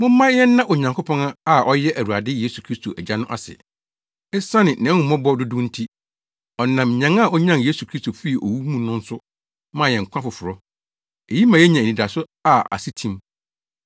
Momma yɛnna Onyankopɔn a ɔyɛ yɛn Awurade Yesu Kristo Agya no ase. Esiane nʼahummɔbɔ dodow nti, ɔnam nyan a onyan Yesu Kristo fii owu mu no so maa yɛn nkwa foforo. Eyi ma yenya anidaso a ase atim,